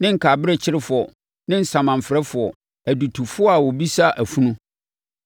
ne nkaberɛkyerefoɔ ne asamanfrɛfoɔ, adutofoɔ a ɔbisa afunu.